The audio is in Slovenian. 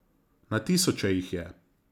Na tisoče jih je.